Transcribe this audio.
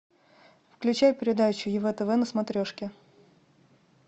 включай передачу ев тв на смотрешке